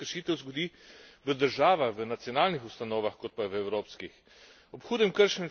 Žal pa se veliko več kršitev zgodi v državah, v nacionalnih ustanovah, kot pa v evropskih.